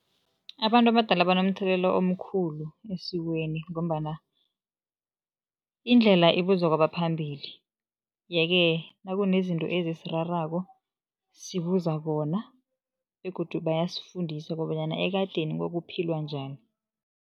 Abantu abadala banomthelelo omkhulu esikweni ngombana indlela ibuzwa kwabaphambili. Yeke nakunezinto eziserarako sibuza bona begodu bayasifundisa kobanyana ekadeni kwakuphilwa njani.